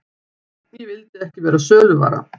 Ég vildi ekki verða söluvara.